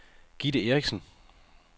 Gitte Erichsen